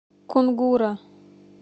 кунгура